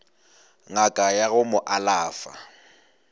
ngaka ya go mo alafa